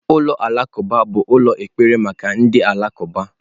Ulọ Alakụba bụ ụlọ ekpere maka ndị Alakụba.